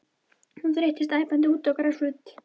Hún þeyttist æpandi út á grasflöt.